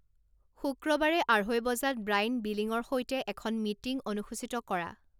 শুক্ৰবাৰে আঢ়ৈ বজাত ব্ৰাইন বিলিংৰ সৈতে এখন মিটিং অনুসূচীত কৰা